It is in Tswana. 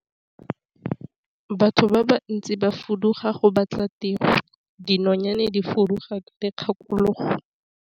Batho ba bantsi ba fuduga go batla tiro, dinonyane di fuduga ka dikgakologo.